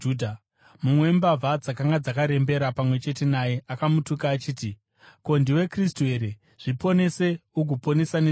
Mumwe wembavha dzakanga dzakarembera pamwe chete naye akamutuka achiti, “Ko, ndiwe Kristu here? Zviponese ugoponesa nesuwo!”